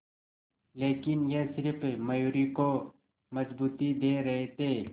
लेकिन ये सिर्फ मयूरी को मजबूती दे रहे थे